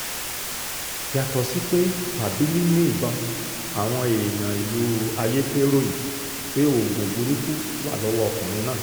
yàtọ̀ sí pé wábìlì ni ìbọn àwọn èèyàn ìlú ayéte ròyìn pé oògùn burúkú wà lọ́wọ́ ọkùnrin náà